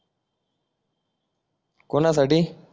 कोणासाठी